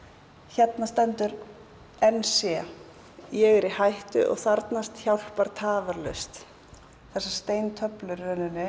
hérna stendur n c ég er í hættu og þarfnast hjálpar tafarlaust þessar steintöflur